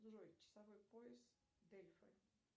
джой часовой пояс дельфы